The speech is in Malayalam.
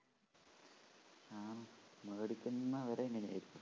മേടിക്കുന്ന അവര് എങ്ങനെയായിരിക്കും